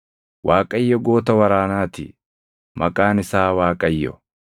Waaqayyo goota waraanaa ti; maqaan isaa Waaqayyo.